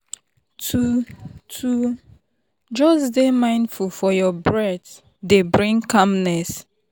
to to just dey mindful of your breath dey bring calmness.